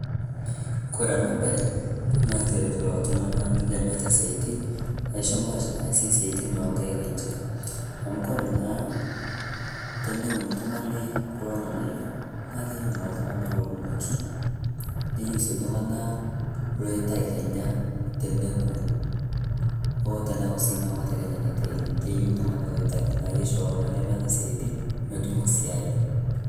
Koree ena bae naa keret kulo tung'ana lemeeta siaitin aishoo mpaash naasie siatin onkaik enche. Amu koree naa teneun oltung'ani kulo ng'anayio naa keyiou naa iltung'ana ounoki neyeu sii iltung'ana loitayu kenya teneku oo sii tenekuu kenya ng'amete natayuni teine, keyou iltung'ana oitakii. Keiyiou iltung'ana oitaki neisho iltung'ana lemeeta siatin petum esiai.